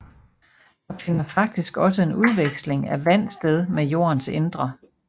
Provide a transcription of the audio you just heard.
Der finder faktisk også en udveksling af vand sted med jordens indre